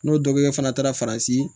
N'o dɔ kɛ fana taara faransi